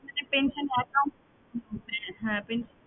একটা pension account হ্যাঁ pension এর